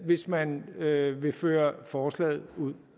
hvis man vil vil føre forslaget ud